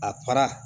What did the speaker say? A fara